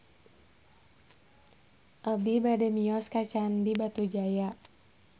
Abi bade mios ka Candi Batujaya